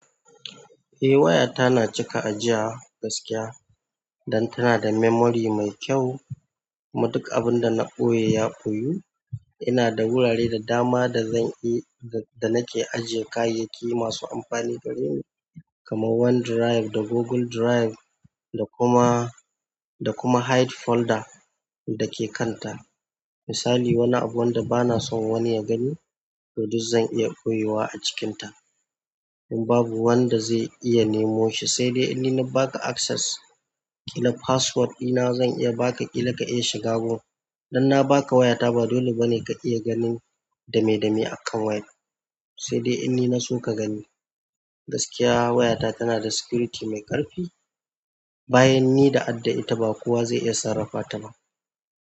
Eh wayata na cika ajiyawa gaskiya dan tana da memory mai kyau kuma duk abun da na ɓoye ya ɓoyu. Ina da wurare da dama da nake ajiyan kayayyaki masu amfani gareni kaman one drive da google drive da kuma hide folder dake kan ta misali wani abu wanda bana son wani ya gani, to duk zan iya koyiwa a cikinta. In babu wanda zai iya nemo shi, saidai in ni na baka access key na password ɗina zan iya baka key daga iya shiga wurin. Dan na baka wayata ba dole bane ka iya ganin dame-dame a kan wayar. Saidai in ni na so ka gani. Gaskiya wayata tana da security mai ƙarfi. Bayan ni da adda ita ba kowa ze iya sarrafa ta ba.